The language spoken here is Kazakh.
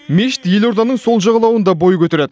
мешіт елорданың сол жағалауында бой көтереді